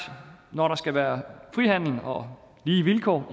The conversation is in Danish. når der skal være frihandel og lige vilkår